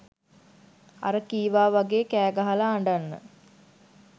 අර කීවා වගේ කෑගහලා අඬන්න